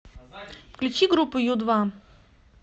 включи группу ю два